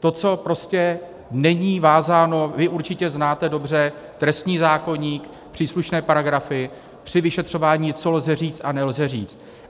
to, co prostě není vázáno - vy určitě znáte dobře trestní zákoník, příslušné paragrafy, při vyšetřování, co lze říct, a nelze říct.